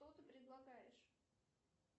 что ты предлагаешь